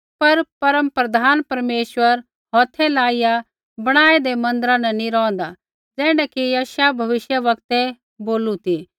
पर परमप्रधान परमेश्वर हौथै लाइआ बणाऐदै मन्दिरा न नी रौंहदा ज़ैण्ढा कि यशायाह भविष्यवक्तै बोलू कि